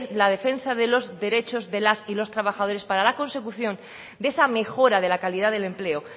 la defensa de los derechos de las y los trabajadores para la consecución de esa mejora de la calidad del empleo